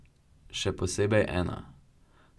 Še posebej ena.